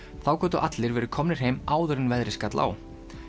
þá gátu allir verið komnir heim áður en veðrið skall á